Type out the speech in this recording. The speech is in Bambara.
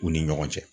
U ni ɲɔgɔn cɛ